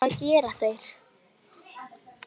Helga: Hvað gera þeir?